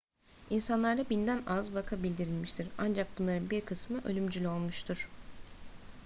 i̇nsanlarda binden az vaka bildirilmiştir ancak bunların bir kısmı ölümcül olmuştur